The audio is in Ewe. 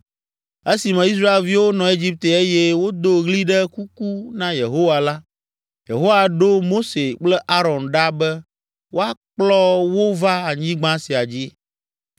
“Esime Israelviwo nɔ Egipte eye wodo ɣli ɖe kuku na Yehowa la, Yehowa ɖo Mose kple Aron ɖa be woakplɔ wo va anyigba sia dzi.